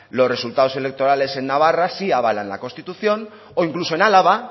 los resultados electorales en navarra sí avalan la constitución o incluso en álava